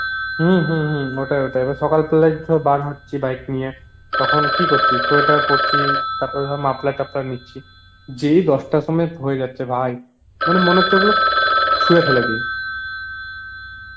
হম হম হম ওটাই ওটাই এবার সকাল তাহলে বার হচ্ছি bike নিয়ে, তখন কি করছি sweater পরছি তারপরে ধরা muffler টাফলার নিচ্ছি, যেই দশতার সময় হয়ে যাচ্ছে ভাই, মানে মনে হচ্ছে ওগুলো চুরে ফেলেদি